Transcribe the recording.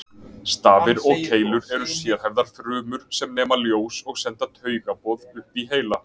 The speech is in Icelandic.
Stafir og keilur eru sérhæfðar frumur sem nema ljós og senda taugaboð upp í heila.